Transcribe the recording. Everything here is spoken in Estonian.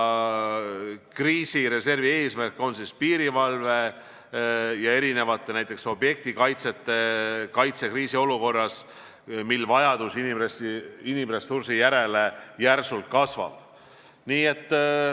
Kriisireservi eesmärk on piirivalve ja erinevate objektide kaitse kriisiolukorras, mil vajadus inimressursi järele järsult kasvab.